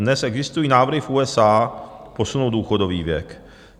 Dnes existují návrhy v USA posunout důchodový věk.